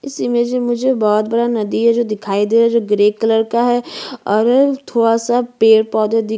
इस इमेज में मुझे बहोत बड़ा नदी है जो दिखाई दे रहा है जो ग्रे कलर का है और अ थोड़ा सा पेड़_पौधे दिख-